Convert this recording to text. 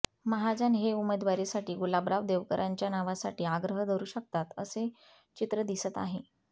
महाजन हे उमेदवारीसाठी गुलाबराव देवकरांच्या नावासाठी आग्रह धरू शकतात असे चित्र दिसत आहे